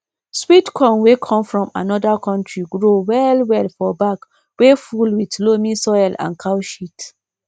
sweet corn wey come from another country grow well well for bag wey full with loamy soil and cow sheat